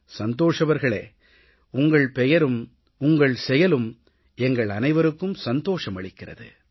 சந்தோஷ் அவர்களே உங்கள் பெயரும் உங்கள் செயலும் எங்கள் அனைவருக்கும் சந்தோஷம் அளிக்கிறது